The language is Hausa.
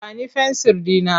Ba ni fensir ɗina!